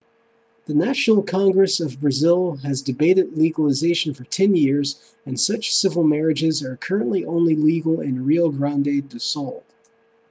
the national congress of brazil has debated legalization for 10 years and such civil marriages are currently only legal in rio grande do sul